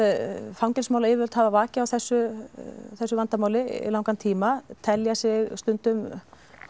fangelsismálayfirvöld hafa vakið á þessu þessu vandamáli í langan tíma telja sig stundum